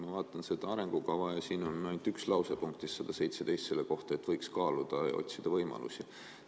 Ma vaatan seda arengukava ja siin on ainult üks lause punktis 117 selle kohta, et seda võiks kaaluda ja otsida võimalusi.